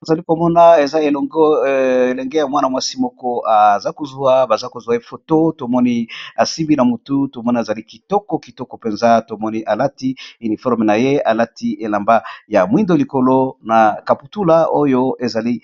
bazali komona ezelenge ya mwana mwasi moko aza kozwa baza kozwa efoto tomoni asimbi na motu to moni azali kitoko kitoko mpenza tomoni alati uniforme na ye alati elamba ya mwindo likolo na kaputula oyo ezali